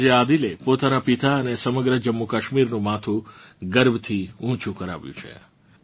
આજે આદિલે પોતાનાં પિતા અને સમગ્ર જમ્મૂકશ્મીરનું માથું ગર્વથી ઊંચુ કરાવ્યું છે